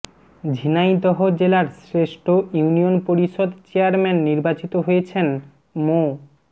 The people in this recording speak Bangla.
ঝিনাইদহ জেলার শ্রেষ্ঠ ইউনিয়ন পরিষদ চেয়ারম্যান নির্বাচিত হয়েছেন মো